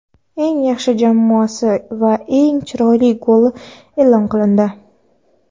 eng yaxshi jamoasi va eng chiroyli goli e’lon qilindi;.